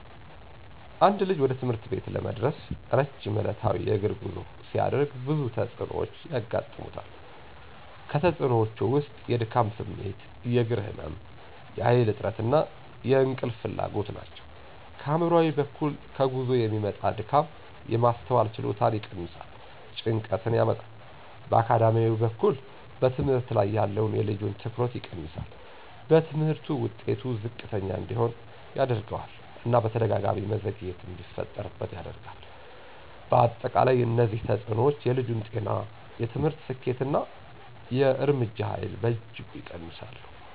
አንድ ልጅ ወደ ትምህርት ቤት ለመድረስ ረጅም ዕለታዊ የእግር ጉዞ ሲያደርግ ብዙ ተጽዕኖዎች ያጋጥሙታል። ከተፅእኖወቹ ውስጥ የድካም ስሜት፣ የእግር ህመም፣ የኃይል እጥረት እና የእንቅልፍ ፍላጎት ናቸው። ከአእምሯዊ በኩል ከጉዞ የሚመጣ ድካም የማስተዋል ችሎታን ይቀንሳል፣ ጭንቀትን ያመጣል። በአካዳሚያዊ በኩል በትምህርት ላይ ያለውን የልጁን ትኩረት ይቀንሳል፣ በትምህርቱ ውጤት ዝቅተኛ እንዲሆን ያደርገዋል እና በተደጋጋሚ መዘግየት እንዲፈጠርበት ያደርጋል። በአጠቃላይ እነዚህ ተጽዕኖዎች የልጁን ጤና፣ የትምህርት ስኬት እና የእርምጃ ኃይል በእጅጉ ይቀንሳሉ።